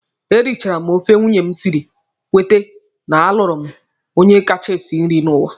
E richara m ofe nwunye m siri, kwete na a lụrụ m onye kacha esi nri n'ụwa.